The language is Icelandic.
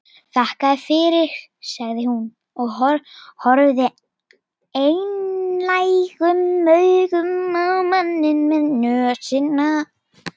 Þakka þér fyrir sagði hún og horfði einlægum augum á manninn með nösina.